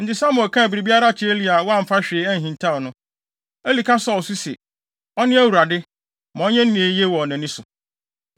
Enti Samuel kaa biribiara kyerɛɛ Eli a wamfa hwee anhintaw no. Eli ka sɔw so se, “Ɔne Awurade; ma ɔnyɛ nea eye wɔ nʼani so.”